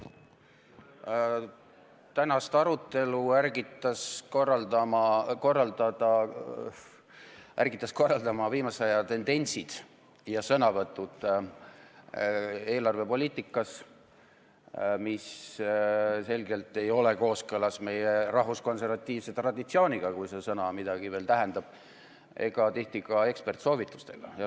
Tänast arutelu ärgitasid korraldama viimase aja tendentsid eelarvepoliitikas ja sõnavõtud selle poliitika kohta, mis selgelt ei ole kooskõlas meie rahvuskonservatiivse traditsiooniga – kui see sõna midagi veel tähendab – ega tihti ka eksperdisoovitustega.